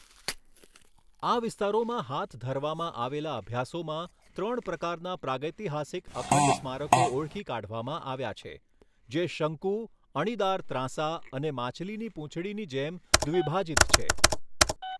આ વિસ્તારોમાં હાથ ધરવામાં આવેલા અભ્યાસોમાં ત્રણ પ્રકારના પ્રાગૈતિહાસિક અખંડ સ્મારકો ઓળખી કાઢવામાં આવ્યા છે જે શંકુ, અણીદાર ત્રાંસા અને માછલીની પૂંછડીની જેમ દ્વિભાજિત છે.